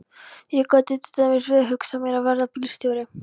Ég gæti til dæmis vel hugsað mér að verða bílstjóri.